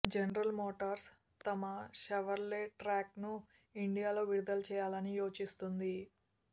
general Motors తమ Chevrolet ట్రాక్ను ఇండియాలో విడుదల చేయాలని యోచిస్తోంది